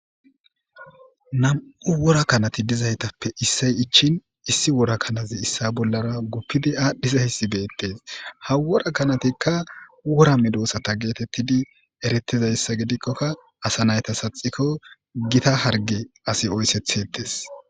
Namu worakanati diza tappe issoyi ichin issi worakanazi issa bollara guppidi adhdhidizaassi bettees. Ha worakanatika wora meedosata geetetidi eretida issa gidikone asanay saatsiko gita harge asi oyittes.